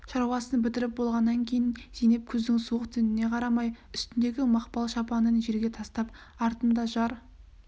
шаруасын бітіріп болғаннан кейін зейнеп күздің суық түніне қарамай үстіндегі мақпал шапанын жерге тастап артында жар